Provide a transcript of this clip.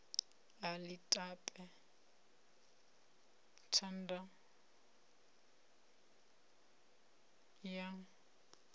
a ḽi tape thanda ya